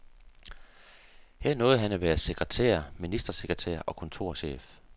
Her nåede han at være sekretær, ministersekretær og kontorchef.